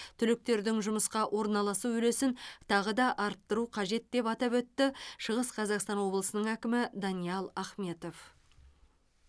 түлектердің жұмысқа орналасу үлесін тағы да арттыру қажет деп атап өтті шығыс қазақстан облысының әкімі даниал ахметов